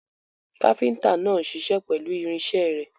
Káfíntà náà ń ṣiṣẹ́ pẹ̀lú irinṣẹ́ rẹ̀.